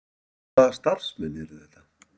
Hvaða starfsmenn eru þetta?